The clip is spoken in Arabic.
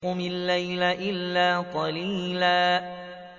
قُمِ اللَّيْلَ إِلَّا قَلِيلًا